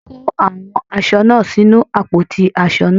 Wọ́n kó àwọn aṣọ náà sínu àpótí aṣọ náà.